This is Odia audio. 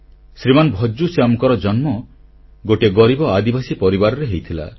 ଶ୍ରୀମାନ ଭଜ୍ଜୁ ଶ୍ୟାମଙ୍କର ଜନ୍ମ ଗୋଟିଏ ଗରିବ ଆଦିବାସୀ ପରିବାରରେ ହୋଇଥିଲା